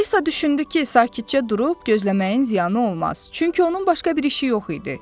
Alisa düşündü ki, sakitcə durub gözləməyin ziyanı olmaz, çünki onun başqa bir işi yox idi.